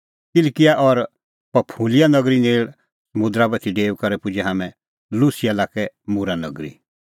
किलकिआ और पंफूलिआ नगरी नेल़ समुंदरा बाती डेऊई करै पुजै हाम्हैं लुसिया लाक्कै मूरा नगरी